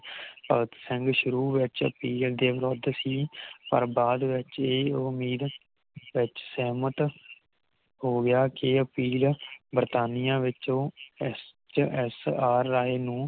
ਭਗਤ ਸਿੰਘ ਸ਼ੁਰੂ ਵਿਚ ਪਿਯਤ ਦੇਵਰਤ ਸੀ ਪਰ ਬਾਦ ਵਿਚ ਇਹ ਉਮੀਦ ਵਿਚ ਸਹਿਮਤ ਹੋ ਗਿਆ ਸੀ ਅਪੀਲ ਵਰਤਣੀਆਂ ਵਿੱਚੋ ਐਸ ਐਚ ਆਰ ਰਾਇ ਨੂੰ